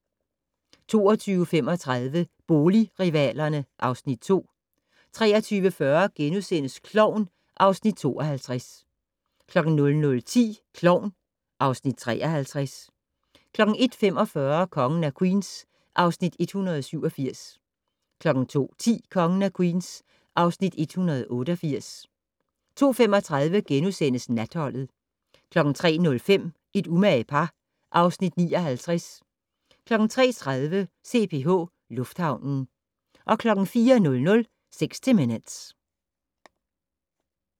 22:35: Boligrivalerne (Afs. 2) 23:40: Klovn (Afs. 52)* 00:10: Klovn (Afs. 53) 01:45: Kongen af Queens (Afs. 187) 02:10: Kongen af Queens (Afs. 188) 02:35: Natholdet * 03:05: Et umage par (Afs. 59) 03:30: CPH Lufthavnen 04:00: 60 Minutes